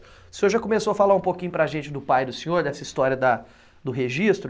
O senhor já começou a falar um pouquinho para gente do pai do senhor, dessa história da do registro